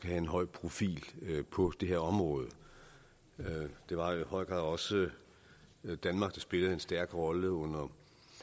have en høj profil på det her område det var i høj grad også danmark der spillede en stærk rolle under